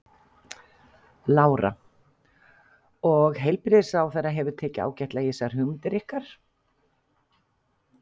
Lára: Og heilbrigðisráðherra hefur tekið ágætlega í þessar hugmyndir ykkar?